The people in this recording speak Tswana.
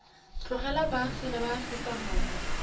tlogela boagi ba aforika borwa